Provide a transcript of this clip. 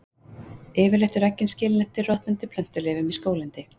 Yfirleitt eru eggin skilin eftir í rotnandi plöntuleifum í skóglendi.